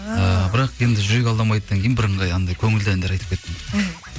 ыыы бірақ енді жүрек алдамайдыдан кейін бірыңғай анандай көңілді әндер айтып кеттім мхм